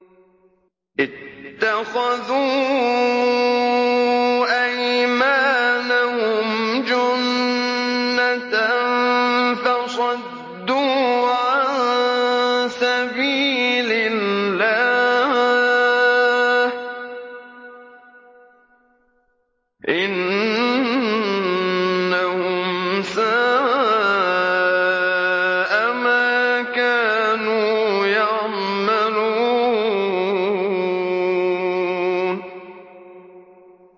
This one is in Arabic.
اتَّخَذُوا أَيْمَانَهُمْ جُنَّةً فَصَدُّوا عَن سَبِيلِ اللَّهِ ۚ إِنَّهُمْ سَاءَ مَا كَانُوا يَعْمَلُونَ